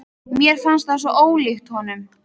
Mér fannst það svo ólíkt honum.